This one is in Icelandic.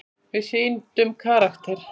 Við sýndum karakter.